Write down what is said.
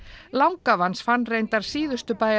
langafi hans fann reyndar síðustu